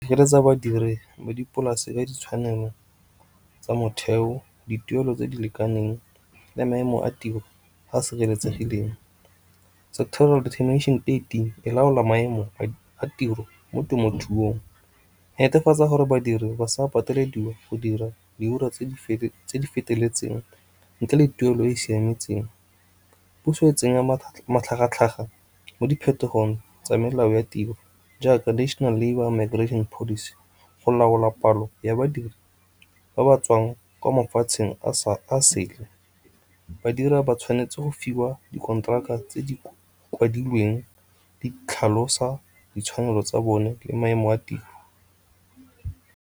badiri ba dipolase ka ditshwanelo tsa motheo, dituelo tse di lekaneng, le maemo a tiro a sireletsegileng. Central e laola maemo a tiro mo temothuong, netefatsa gore badiri ba sa patelediwa go dira di ura tse di feteletseng ntle le tuelo e e siametseng. Puso e tsenya matlhagatlhaga mo diphetogong tsa melao ya tiro jaaka National Labour Migrating Policy go laola palo ya badiri ba ba tswang kwa mafatsheng a sele. Badiri ba tshwanetse go fiwa di konteraka tse di kwadilweng, di tlhalosa ditshwanelo tsa bone le maemo a tiro.